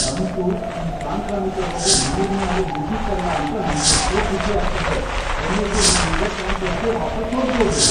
ಅಂತೂ ಈ ಸಾಂಕ್ರಾಮಿಕ ರೋಗದ್ ಮೂರ್ನೇ ಅಲೆ ಮುಗೀತಲ ಅಂತ ನಂಗೆಷ್ಟೋ ಖುಷಿ ಆಗ್ತಿದೆ. ಕೊನೆಗೂ ನಾನೀಗ ಕ್ಯಾಂಪಸ್ಗೆ ವಾಪಸ್ ಹೋಗ್ಬೋದು.